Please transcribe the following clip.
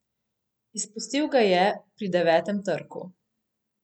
Izpustil ga je pri devetem trku.